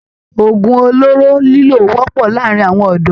Òògùn olóró lílò wọ́pọ̀ láàárín àwọn ọ̀dọ́